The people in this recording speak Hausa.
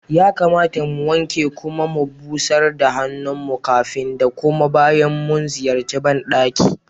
Ya kamata mu wanke kuma mu busar da hannun mu kafin da kuma bayan mu ziyarci ban ɗaki.